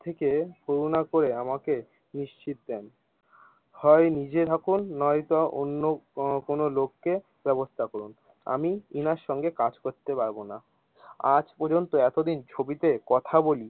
থেকে করুনা করে আমাকে নিশ্চিৎ দেন, হয় নিজে থাকুন নয়ত অন্য কোনো লোককে ব্যবস্থা করুন, আমি এনার সংগে কাজ করতে পারবো না আজ পর্যন্ত এতদিন ছবিতে কথা বলি।